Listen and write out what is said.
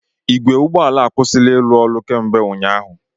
Igwe ụgbọ ala a akwụsịla ịrụ ọrụ kemgbe ụnyaahụ.